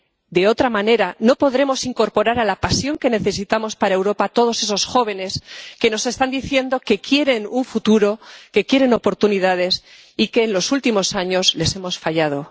De otra manera, no podremos incorporar a la pasión que necesitamos para Europa a todos esos jóvenes que nos están diciendo que quieren un futuro, que quieren oportunidades y a los que, en los últimos años, hemos fallado.